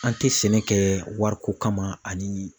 An tɛ sɛnɛ kɛ wariko kama ani